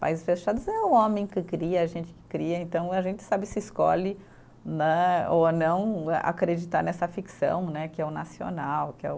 Países fechados é o homem que cria, é a gente que cria, então a gente sabe se escolhe né ou não acreditar nessa ficção né, que é o nacional, que é o